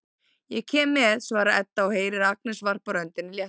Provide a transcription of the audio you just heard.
Ég kem með, svarar Edda og heyrir að Agnes varpar öndinni léttar.